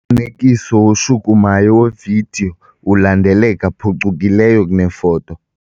Umfanekiso oshukumayo wevidiyo ulandeleka phucukileyo kunefoto.